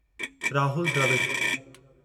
Rahul Dravid